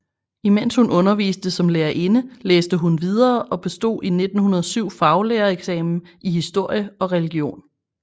Imens hun underviste som lærerinde læste hun videre og bestod i 1907 faglærereksamen i historie og religion